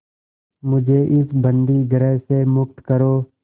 मुझे इस बंदीगृह से मुक्त करो